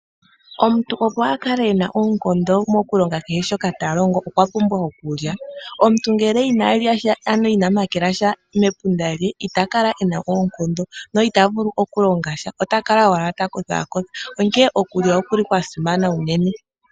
Omuntu opo akale ena oonkondo mokulonga kehe shoka talongo okwapumbwa okulya. Omuntu ngele inalyasha ano ina makelasha mepunda lye itakala kena oonkondo na itavulu oku longasha otakala owala takotha onkene okulya okuli kwasimana unene.